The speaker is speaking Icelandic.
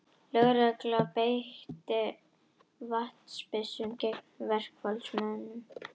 Lögregla beitti vatnsbyssum gegn verkfallsmönnum